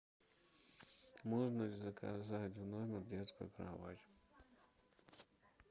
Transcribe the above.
можно ли заказать в номер детскую кровать